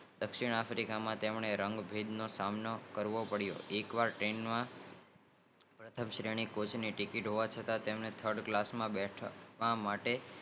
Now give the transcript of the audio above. દક્ષિણાફ્રિકા માં તેમને રંગ ભેદ નો સામનો કરવો પડીઓ એક વાર ટ્રેન માં પ્રથમ કોચ ની ટિકિટ હોવા છતાં થર્ડ કલાક માં બેઠા હતા